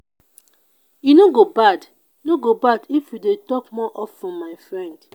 e no go bad no go bad if we dey talk more of ten my friend.